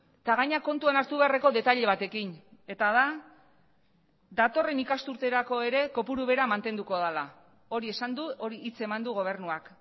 eta gainera kontuan hartu beharreko detaile batekin eta da datorren ikasturterako ere kopuru bera mantenduko dela hori esan du hori hitz eman du gobernuak